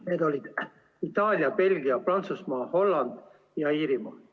Need olid Itaalia, Belgia, Prantsusmaa, Holland ja Iirimaa.